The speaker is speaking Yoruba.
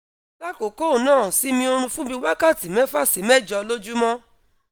lákọ̀ọ́kọ́ ná simi orun fun bi wakati mefa si mejo lojumo